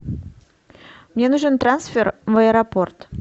мне нужен трансфер в аэропорт